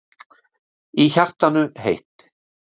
Í hjartanu heitt.